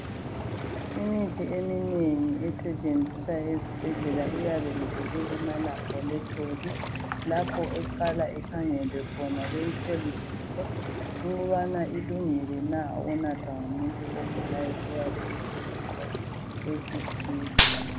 Imithi eminengi esetshenziswa ezibhedlela iyabe ivela emalaboritol lapho eqala ikhangelwe khona beyihlolisise ukubana ilungilena unathwa ngumuntu ogulayo oyabe elesifo esithile